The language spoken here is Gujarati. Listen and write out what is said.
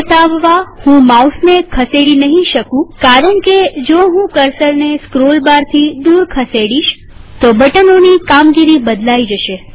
આ બતાવવા હું માઉસને ખસેડી નહીં શકુંકારણકેજો હું કર્સરને સ્ક્રોલ બાર થી દૂર ખસેડીશ તો બટનોની કામગીરી બદલાઈ જશે